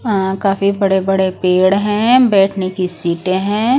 अ काफी बड़े-बड़े पेड़ हैं बैठने की सीटें हैं ।